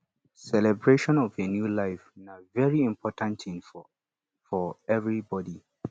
celebration of a new life na very important thing for for everybody